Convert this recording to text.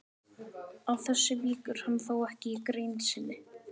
Að þessu víkur hann þó ekki í grein sinni.